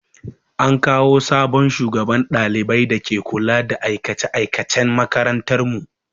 An kawo sabon shugaban ɗaliban da ke kula da aikace aikacen makarantar mu.